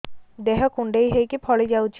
ଦେହ କୁଣ୍ଡେଇ ହେଇକି ଫଳି ଯାଉଛି